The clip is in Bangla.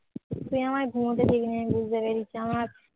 তুই আমায় ঘুমোতে দিবিনি আমি বুঝতে পেরেছি আমার